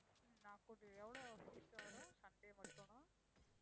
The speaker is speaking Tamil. உம் நான் கூட்டி~ எவ்ளோ fees வரும் Sunday மட்டும்னா?